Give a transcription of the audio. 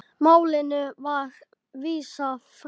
Málinu var vísað frá.